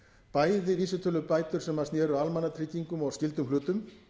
bæði vísitölubætur sem sneru að almannatryggingum og skyldum hlutum